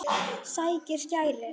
Sækir skæri.